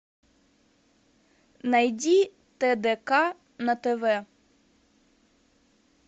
найди тдк на тв